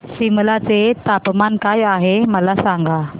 सिमला चे तापमान काय आहे मला सांगा